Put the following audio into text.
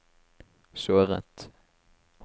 såret